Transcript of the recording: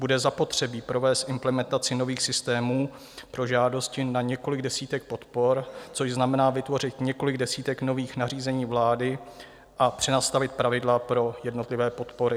Bude zapotřebí provést implementaci nových systémů pro žádosti na několik desítek podpor, což znamená vytvořit několik desítek nových nařízení vlády a přenastavit pravidla pro jednotlivé podpory.